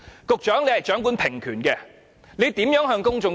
局長掌權平權，他如何向公眾交代？